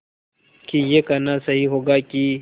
कि यह कहना सही होगा कि